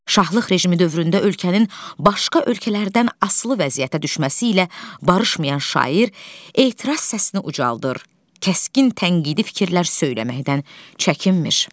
Şahlıq rejimi dövründə ölkənin başqa ölkələrdən asılı vəziyyətə düşməsi ilə barışmayan şair etiraz səsini ucaldır, kəskin tənqidi fikirlər söyləməkdən çəkinmir.